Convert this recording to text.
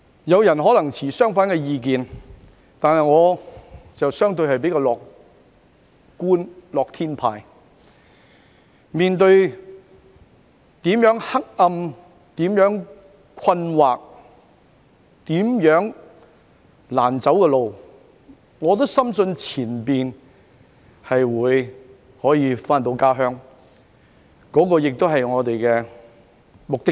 有人可能持相反意見，但我是相對較樂觀的樂天派，面對多麼黑暗、困惑和難走的路，也深信前路可以回到家鄉。這亦是我們的目的地。